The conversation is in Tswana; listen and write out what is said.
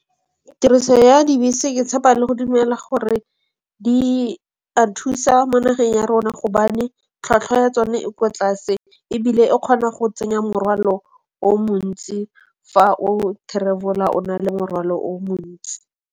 Tiriso ya dibese ke tshepa le go dumela gore di a thusa mo nageng ya rona gobane tlhwatlhwa ya tsone e kwa tlase ebile e kgona go tsenya morwalo o montsi fa o travel-ela o na le morwalo o montsi.